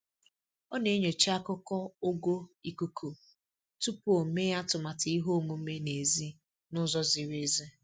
Ọ na-enyocha akụkọ ogo ikuku tupu o mee atụmatụ ihe omume n'èzí n'ụzọ ziri ezi